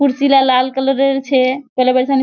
कुर्सी ला लाल कलर अर छे --